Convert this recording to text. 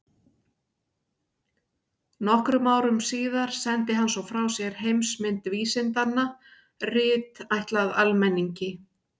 Nokkrum árum síðar sendi hann svo frá sér Heimsmynd vísindanna, rit ætlað almenningi.